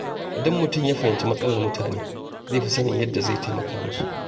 Idan mutum ya fahimci matsalar mutane, zai fi sanin yadda zai taimaka musu.